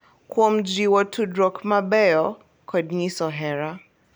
Kuom jiwo tudruok mabeyo kod nyiso hera.